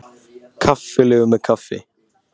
Kaffilegur með kaffi.